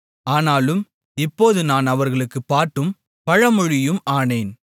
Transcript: ஆனாலும் இப்போது நான் அவர்களுக்குப் பாட்டும் பழமொழியும் ஆனேன்